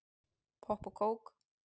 Popp og kók